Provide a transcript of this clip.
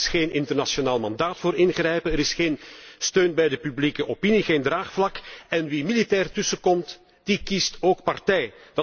Er is geen internationaal mandaat voor ingrijpen, er is geen steun bij de publieke opinie, geen draagvlak. En wie militair tussenkomt, kiest ook partij.